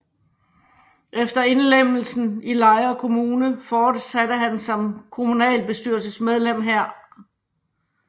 Efter indlemmelsen i Lejre Kommune fortsatte han som kommunalbestyrelsesmedlem her